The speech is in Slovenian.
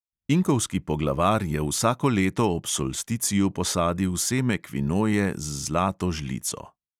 Inkovski poglavar je vsako leto ob solsticiju posadil seme kvinoje z zlato žlico.